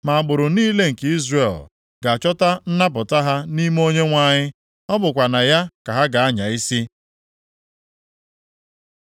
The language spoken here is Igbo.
Ma agbụrụ niile nke Izrel ga-achọta nnapụta ha nʼime Onyenwe anyị, + 45:25 NʼOnyenwe anyị ka a ga-agụ agbụrụ niile nke Izrel ka ndị ezi omume. ọ bụkwa na ya ka ha ga-anya isi.